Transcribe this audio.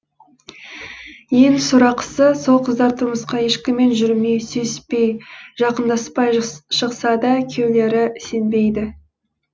ең сорақысы сол қыздар тұрмысқа ешкіммен жүрмей сүйіспей жақындаспай шықса да күйеулері сенбейді